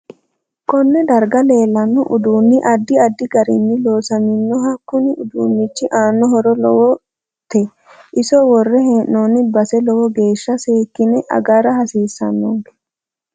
KOnne darga leelano uduuni addi addi garinni loosaminoho kunni uduunichi aano horo lowote iso worre heenooni base lowo geesha seekine agara hasiisanonke